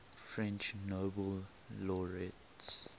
french nobel laureates